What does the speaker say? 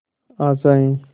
आशाएं